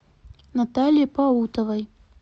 наталье паутовой